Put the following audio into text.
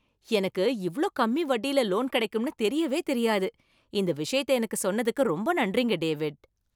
எனக்கு இவ்ளோ கம்மி வட்டியில லோன் கிடைக்கும்னு தெரியவே தெரியாது. இந்த விஷயத்தை எனக்கு சொன்னதுக்கு ரொம்ப நன்றிங்க, டேவிட்.